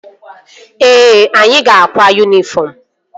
Ee, anyị ga-akwa yunifọm